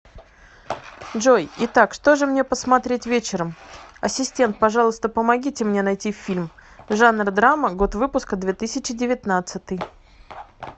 джой итак что же мне посмотреть вечером ассистент пожалуйста помогите мне найти фильм жанр драма год выпуска две тысячи девятнадцатый